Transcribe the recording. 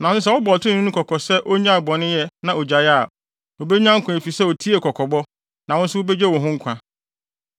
Nanso sɛ wobɔ ɔtreneeni no kɔkɔ sɛ onnyae bɔneyɛ na ogyae a, obenya nkwa efisɛ otiee kɔkɔbɔ, na wo nso wubegye wo ho nkwa.”